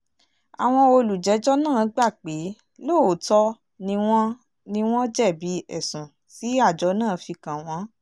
àwọn olùjẹ́jọ́ náà gbà pé lóòótọ́ ni wọ́n ni wọ́n jẹ̀bi ẹ̀sùn tí àjọ náà fi kàn wọ́n